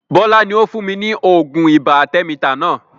Bọlá ni ó fún mi ní oògùn ibà arthemeter náà